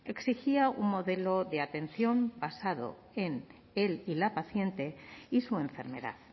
exigía un modelo de atención basado en el y la paciente y su enfermedad